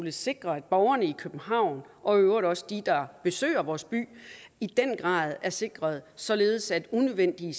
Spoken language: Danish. at sikre at borgerne i københavn og i øvrigt også de der besøger vores by i den grad er sikrede således at unødvendige